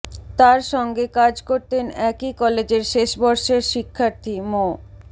তার সঙ্গে কাজ করতেন একই কলেজের শেষবর্ষের শিক্ষার্থী মো